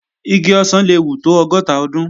Igi ọ̀sán le wù tó ọgọ́ta ọdún